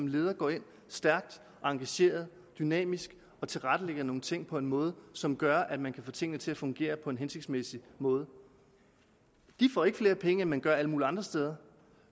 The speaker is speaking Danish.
leder går ind stærkt engageret dynamisk og tilrettelægger nogle ting på en måde som gør at man kan få tingene til at fungere på en hensigtsmæssig måde de får ikke flere penge end man gør alle mulige andre steder